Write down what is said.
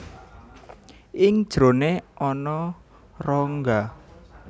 Ing njerone ana rongga